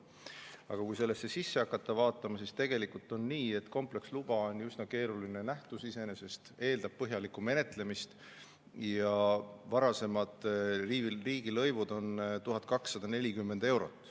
Aga kui hakata sellesse sisse vaatama, siis tegelikult on nii, et kompleksluba on iseenesest üsna keeruline nähtus, see eeldab põhjalikku menetlemist, ja varasemad riigilõivud on olnud 1240 eurot.